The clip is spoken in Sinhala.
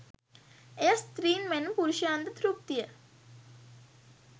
එය ස්ත්‍රීන් මෙන්ම පුරුෂයන්ද තෘප්තිය